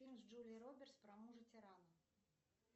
фильм с джулией робертс про мужа тирана